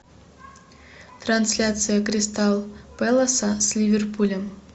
трансляция кристал пэласа с ливерпулем